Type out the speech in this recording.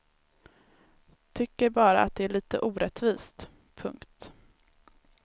Tycker bara att det är lite orättvist. punkt